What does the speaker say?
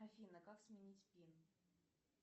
афина как сменить пин